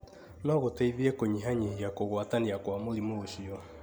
no gũteithie kũnyihanyihia kũgwatania kwa mũrimũ ũcio.